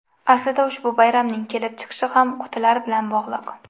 Aslida ushbu bayramning kelib chiqishi ham qutilar bilan bog‘liq.